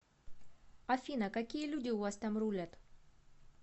афина какие люди у вас там рулят